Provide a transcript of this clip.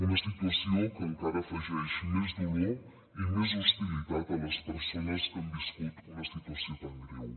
una situació que encara afegeix més dolor i més hostilitat a les persones que han viscut una situació tan greu